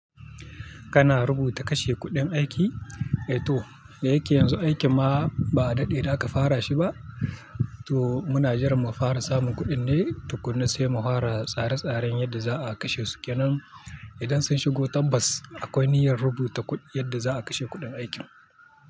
Kana rubuta kashe kuɗin aiki? Eh to, da yake yanzu aikin ma ba a daɗe da aka fara shi ba, to muna jiran mu fara samun kuɗin ne tukuna sai mu fara tsare tsaren yadda za a kashe su. Kenan idan sun shigo tabbas akwai niyyar rubuta yadda za a kashe kuɗin aikin.